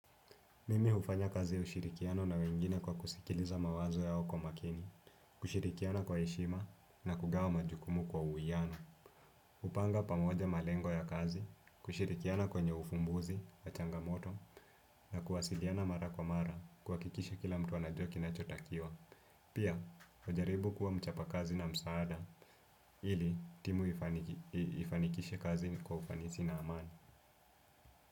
Mimi hufanya kazi ya ushirikiano na wengine kwa kusikiliza mawazo yao kwa makini, kushirikiana kwa heshima na kugawa majukumu kwa uwiano. Upanga pamoja malengo ya kazi, kushirikiana kwenye ufumbuzi, ya changamoto na kuwasiliana mara kwa mara kuhakikisha kila mtu anajua kinachotakiwa. Pia, hujaribu kuwa mchapa kazi na msaada ili timu ifaniki ifanikishe kazi kwa ufanisi na amani.